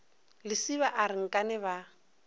lesiba a re nkane ba